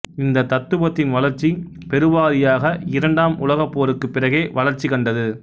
இந்த தத்துவத்தின் வளர்ச்சி பெருவாரியாக இரண்டாம் உலகப்போருக்கு பிறகே வளர்ச்சி கண்டது